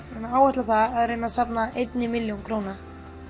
áætla það að reyna safna einni milljón króna